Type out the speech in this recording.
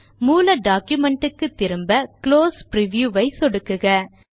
மூல டாக்குமென்ட் க்கு திரும்ப குளோஸ் பிரிவ்யூ ஐ சொடுக்குக